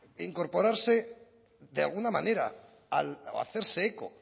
incorporarse de alguna manera o hacerse eco